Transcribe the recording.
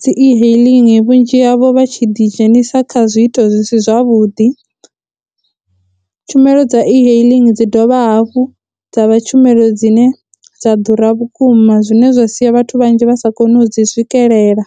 dzi e-hailing vhunzhi havho vha tshi ḓi dzhenisa kha zwiito zwi si zwavhuḓi. Tshumelo dza e-hailing dzi dovha hafhu dza vha tshumelo dzine dza ḓura vhukuma zwine zwa sia vhathu vhanzhi vha sa koni u dzi swikelela.